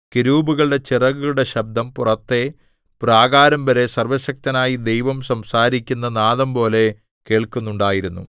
കെരൂബുകളുടെ ചിറകുകളുടെ ശബ്ദം പുറത്തെ പ്രാകാരംവരെ സർവ്വശക്തനായ ദൈവം സംസാരിക്കുന്ന നാദംപോലെ കേൾക്കുന്നുണ്ടായിരുന്നു